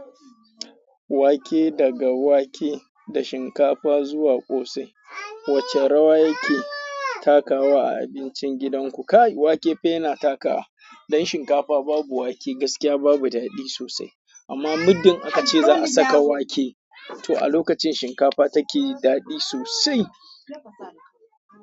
Wake daga wake da shinkafa zuwa kosai wace rawa yake takawa a abincin gidan ku. Wake fa yana takawa, dan shinkafa babu wake gaskiya babu daɗi sosai. Amma muddin aka ce za a saka wake to a lokacin shinkafa take daɗi sosai.